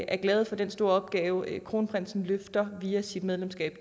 er glade for den store opgave kronprinsen løfter via sit medlemskab